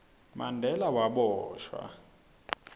mandela waboshwa